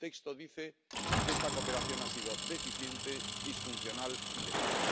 El texto dice que esta cooperación ha sido deficiente, disfuncional y lenta.